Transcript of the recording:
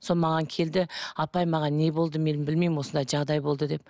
сол маған келді апай маған не болды мен білмеймін осындай жағдай болды деп